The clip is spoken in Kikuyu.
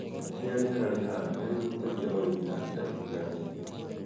ũrĩa rĩera rĩhana nĩũhutagia ũrĩmi na njĩra itiganĩte